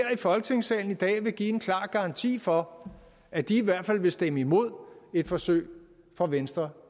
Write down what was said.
i folketingssalen i dag vil give en klar garanti for at de i hvert fald vil stemme imod et forsøg fra venstre